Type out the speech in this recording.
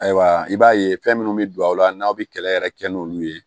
Ayiwa i b'a ye fɛn minnu bɛ don a la n'aw bɛ kɛlɛ yɛrɛ kɛ n'olu ye